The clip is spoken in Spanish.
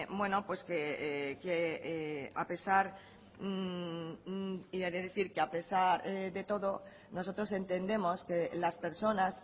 que a pesar de todo nosotros entendemos que las personas